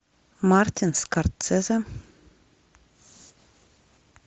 мартин скорсезе